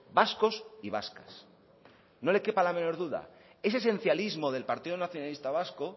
vascos y vascas no le quepa la menor duda ese esencialismo del partido nacionalista vasco